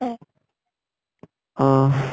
অহ